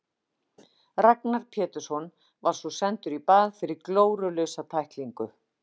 Ragnar Pétursson var svo sendur í bað fyrir glórulausa tæklingu.